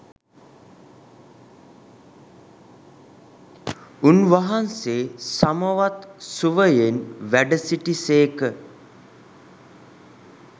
උන්වහන්සේ සමවත් සුවයෙන් වැඩසිටි සේක.